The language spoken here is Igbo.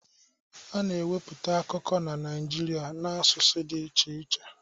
A na-ewepụta akụkọ na Naịjirịa n'asụsụ dị iche iche